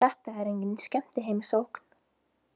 Þetta er engin skemmtiheimsókn.